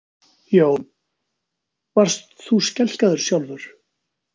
Jón: Varst þú skelkaður sjálfur?